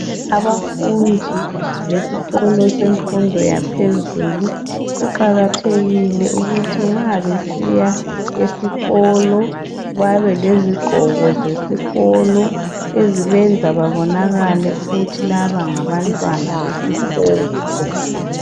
Abafundi besikolo semfundo yaphezulu kuqakathekile ukuthi nxa besiya esikolo babe lezigqoko zesikolo ezibenza babonakale ukuthi laba ngabantwana besikolo.